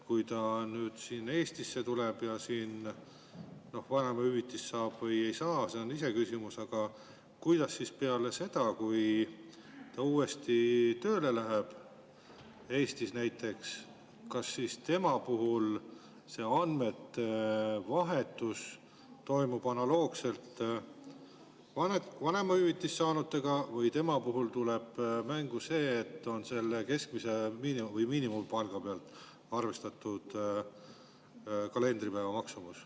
Kui ta Eestisse tuleb ja siin vanemahüvitist saab või ei saa, siis see on iseküsimus, aga peale seda, kui ta uuesti tööle läheb, Eestis näiteks, kas siis tema puhul see andmete vahetus toimub analoogselt vanemahüvitist saanutega või tema puhul tuleb mängu see, et on selle keskmise või miinimumpalga pealt arvestatud kalendripäeva maksumus?